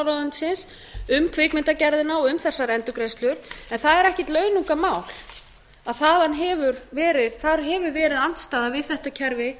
fjármálaráðuneytisins um kvikmyndagerðina og um þessar endurgreiðslur en það er ekkert launungarmál að þar hefur verið andstaða við þetta kerfi